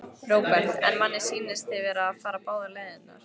Róbert: En manni sýnist þið vera að fara báðar leiðirnar?